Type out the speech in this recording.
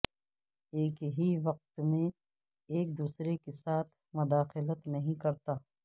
ایک ہی وقت میں ایک دوسرے کے ساتھ مداخلت نہیں کرتا